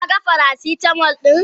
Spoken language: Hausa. Ka gan faracitamol din?